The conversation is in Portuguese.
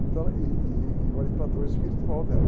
Então era, ih, ih, e o orientador espiritual dela.